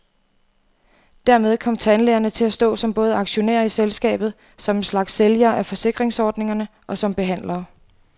Dermed kom tandlægerne til at stå som både aktionærer i selskabet, som en slags sælgere af forsikringsordningerne og som behandlere.